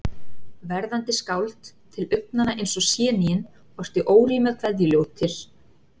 Verðandi skáld, til augnanna eins og séníin, orti órímað kveðjuljóð til